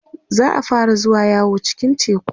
za'a fara zuwa yawo cikin teku